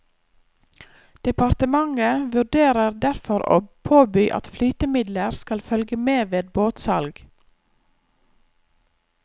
Departementet vurderer derfor å påby at flytemidler skal følge med ved båtsalg.